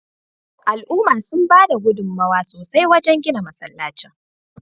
Al'umma sun bada gudunmawa sosai wajen gina masallacin